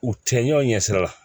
U cɛɲaw ɲɛsira